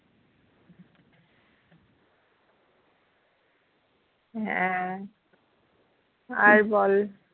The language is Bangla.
হ্যাঁ আর বল